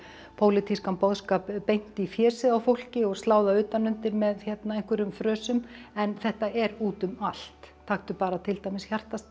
pólitískan boðskap beint í fésið á fólki og slá það utanundir með einhverjum frösum en þetta er út um allt taktu bara til dæmis hjartastað